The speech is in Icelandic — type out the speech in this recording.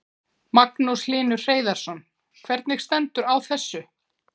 Magnús Hlynur Hreiðarsson: Hvernig stendur á þessu?